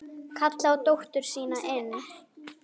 Kallar á dóttur sína inn.